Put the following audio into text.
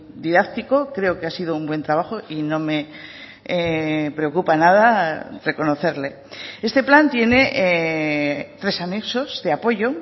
didáctico creo que ha sido un buen trabajo y no me preocupa nada reconocerle este plan tiene tres anexos de apoyo